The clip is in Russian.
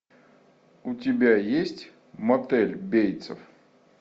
у тебя есть мотель бейтсов